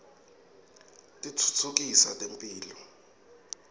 titfutfukisa temphilo